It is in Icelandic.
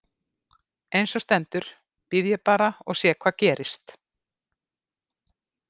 Eins og stendur bíð ég bara og sé hvað gerist.